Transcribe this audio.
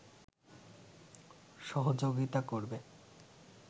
সহযোগিতা করবে